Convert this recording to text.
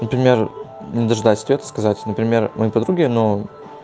например не дожидаясь ответа сказать например ну подруге но